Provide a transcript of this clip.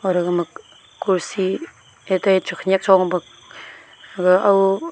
kursI khanak cho pe aga au